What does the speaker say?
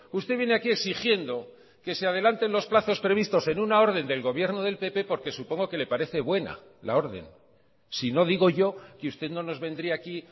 usted viene aquí exigiendo que se adelante los plazos previstos en una orden del gobierno del pp porque supongo que le parece buena la orden sino digo yo que usted no nos vendría aquí